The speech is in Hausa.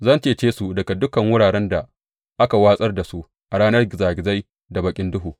Zan cece su daga dukan wuraren da aka watsar da su a ranar gizagizai da baƙin duhu.